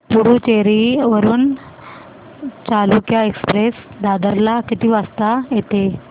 पुडूचेरी वरून चालुक्य एक्सप्रेस दादर ला किती वाजता येते